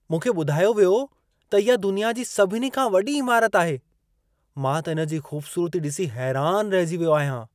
मूंखे ॿुधायो वियो त इहा दुनिया जी सभिनी खां वॾी इमारत आहे। मां त इन जी खूबसूरती ॾिसी हैरान रहिजी वियो आहियां।